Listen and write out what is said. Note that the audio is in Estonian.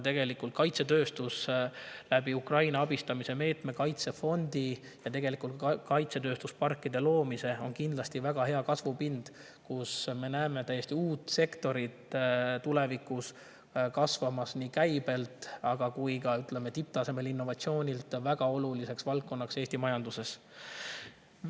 Kaitsetööstus on Ukraina abistamise meetme, kaitsefondi ja kaitsetööstusparkide loomise kaudu kindlasti väga hea kasvupind: me näeme tulevikus kasvamas täiesti uut sektorit, mis nii käibe kui ka tipptasemel innovatsiooni tõttu väga oluliseks valdkonnaks Eesti majanduses.